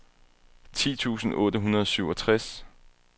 ti tusind otte hundrede og syvogtres